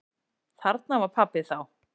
Þarna var pabbi þá.